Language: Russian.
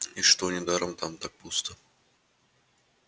и что недаром там так пусто